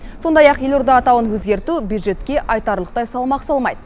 сондай ақ елорда атауын өзгерту бюджетке айтарлықтай салмақ салмайды